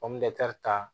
ta